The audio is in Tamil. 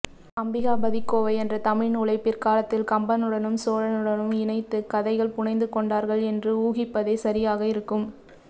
அம்பிகாபதிக்கோவை என்ற தமிழ்நூலைப் பிற்காலத்தில் கம்பனுடனும் சோழனுடனும் இணைத்துக் கதைகள் புனைந்துகொண்டார்கள் என்று ஊகிப்பதே சரியாக இருக்கும்